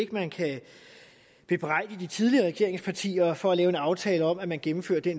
at man kan bebrejde de tidligere regeringspartier for at lave en aftale om at man gennemfører de